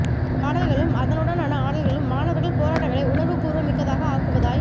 பாடல்களும் அதனூடனான ஆடல்களும் மாணவர்கள் போராட்டங்களை உணர்வு பூர்வமிக்கதாக ஆக்குவதாய்